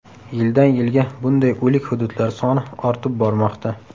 Yildan yilga bunday o‘lik hududlar soni ortib bormoqda.